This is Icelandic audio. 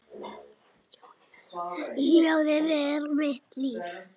Ljóðið er mitt líf.